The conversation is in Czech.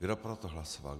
Kdo pro to hlasoval?